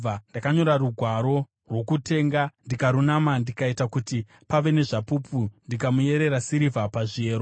Ndakanyora rugwaro rwokutenga ndikarunama, ndikaita kuti pave nezvapupu, ndikamuyerera sirivha pazviyero.